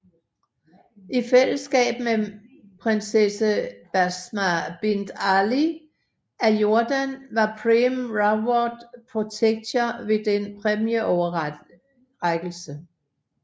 I fællesskab med med Prinsesse Basma Bint Ali af Jordan var Prem Rawat protektor ved denne præmieoverrækkelse